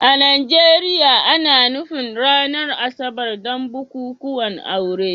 A Najeriya, ana nufin ranar Asabar don bukukuwan aure